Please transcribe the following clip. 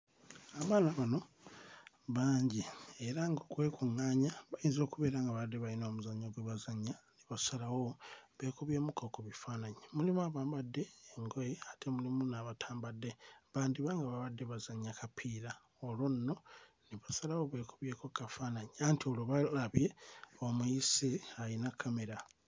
Abaana bano bangi era ng'okwekuᵑᵑaanya bayinza okubeera nga babadde bayina omuzannyo gwe bazannya ne basalawo beekubyemu kko ku bifaananyi mulimu abambadde engoye ate mulimu n'abatambadde bandiba nga babadde bazannya kapiira olwo nno ne basalawo beekubyeko kkafaananyi anti olwo balabye omuyise ayina kkamera.